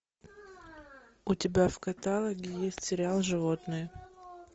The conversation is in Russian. у тебя в каталоге есть сериал животные